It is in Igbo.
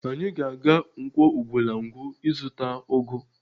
Anyị ga-aga Nkwọ Ugwulangwu ịzụta ụgụ